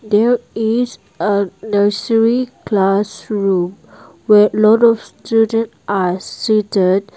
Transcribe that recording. there is a nursery class room where lot of students are seated.